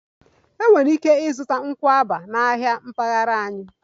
Ị nwere ike ịzụta pineapple na ahịa mpaghara anyị